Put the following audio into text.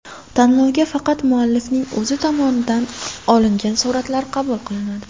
Tanlovga faqat muallifning o‘zi tomonidan olingan suratlar qabul qilinadi.